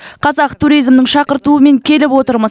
қазақ туризмнің шақыртуымен келіп отырмыз